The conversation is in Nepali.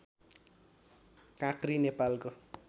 काँक्री नेपालको